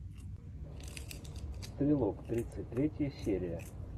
стрелок тридцать третья серия